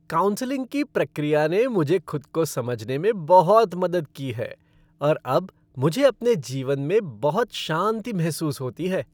Counselling की प्रक्रिया ने मुझे खुद को समझने में बहुत मदद की है और अब मुझे अपने जीवन में बहुत शांति महसूस होती है।